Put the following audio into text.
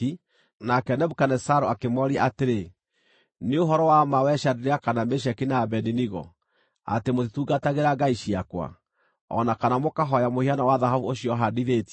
nake Nebukadinezaru akĩmooria atĩrĩ, “Nĩ ũhoro wa ma wee Shadiraka, na Meshaki, na Abedinego, atĩ mũtitungatagĩra ngai ciakwa, o na kana mũkahooya mũhianano wa thahabu ũcio handithĩtie?